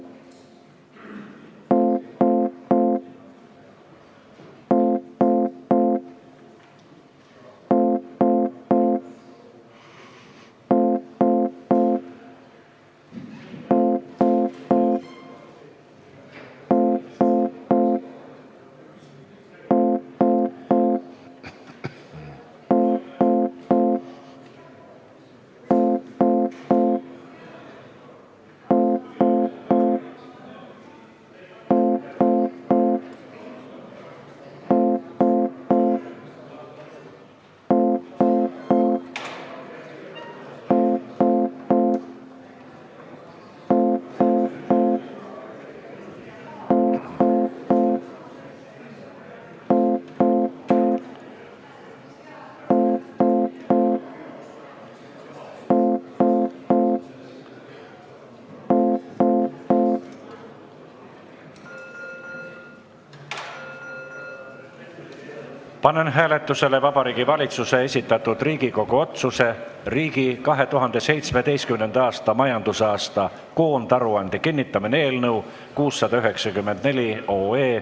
Panen hääletusele Vabariigi Valitsuse esitatud Riigikogu otsuse "Riigi 2017. aasta majandusaasta koondaruande kinnitamine" eelnõu 694.